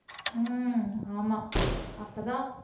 ஆஹ் ஆமா அப்பதான்